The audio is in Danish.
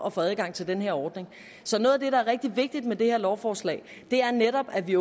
at få adgang til den her ordning så noget af det der er rigtig vigtigt med det her lovforslag er netop at vi